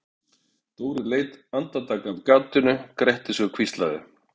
Dóri leit andartak af gatinu, gretti sig og hvíslaði